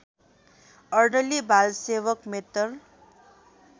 अर्दली बालसेवक मेत्तर